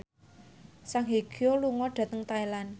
Song Hye Kyo lunga dhateng Thailand